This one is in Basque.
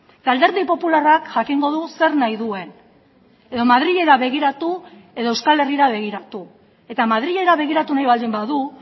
eta alderdi popularrak jakingo du zer nahi duen edo madrilera begiratu edo euskal herrira begiratu eta madrilera begiratu nahi baldin badu